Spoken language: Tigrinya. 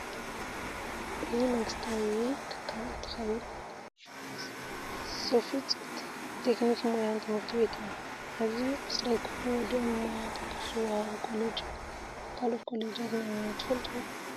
እዚ መንግስታዊ ትልት እንትከውን ሰፍፆ ትክኒክን ሞያ ትምህርቲ ቤት እዩ። ኣብዚ ዓስራይ ክፍሊ ወዲኦም ብሞያ ተከፍ ዝወሃበሉ ኮሌጅ እዩ። ካልኦት ኮሌጃት ናይ ሞያ ትፈልጡ ?